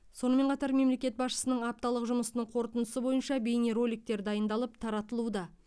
сонымен қатар мемлекет басшысының апталық жұмысының қорытындысы бойынша бейнероликтер дайындалып таратылуда